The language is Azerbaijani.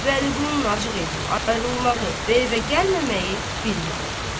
Vəliqulunun acıq eləyib ayrılmağı, və evə gəlməməyi bir yana.